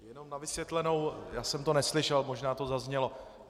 Jenom na vysvětlenou, já jsem to neslyšel, možná to zaznělo.